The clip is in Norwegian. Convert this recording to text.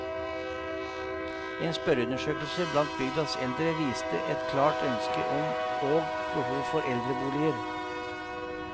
En spørreundersøkelse blant bygdas eldre viste et klart ønske om og behov for eldreboliger.